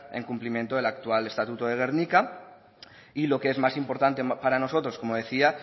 el cumplimiento de la actual estatuto de gernika y lo que es más importante para nosotros como decía